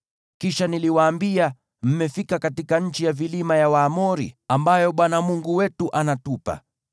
Kisha niliwaambia, “Mmefika katika nchi ya vilima ya Waamori, ambayo Bwana Mungu wetu anatupa.